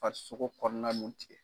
Farisogo kɔnɔna nun tigɛ.